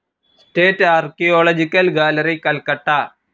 state archaeological gallery, Calcutta